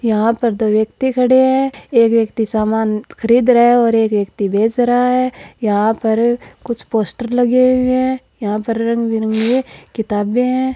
यहां पर दो व्यक्ति खड़े हैं एक व्यक्ति समान खरीद रहे है और एक व्यक्ति बेच रहा है यहां पर कुछ पोस्टर लगे हुए हैं यहां पर रंग बिरंगी किताबें है।